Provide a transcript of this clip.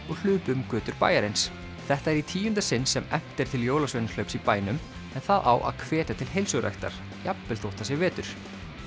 og hlupu um götur bæjarins þetta er í tíunda sinn sem efnt er til jólasveinahlaups í bænum en það á að hvetja til heilsuræktar jafnvel þótt það sé vetur